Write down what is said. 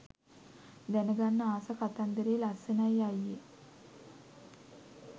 දැනගන්න ආස කතාන්දරෙ ලස්සනයි අයියෙ